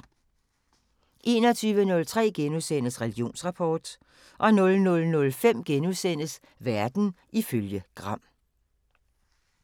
21:03: Religionsrapport * 00:05: Verden ifølge Gram *